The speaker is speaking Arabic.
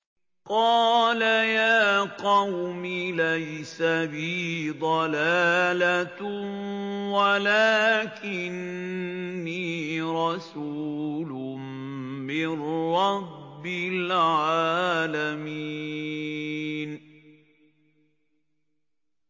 قَالَ يَا قَوْمِ لَيْسَ بِي ضَلَالَةٌ وَلَٰكِنِّي رَسُولٌ مِّن رَّبِّ الْعَالَمِينَ